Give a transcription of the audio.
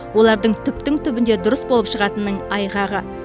олардың түптің түбінде дұрыс болып шығатынының айғағы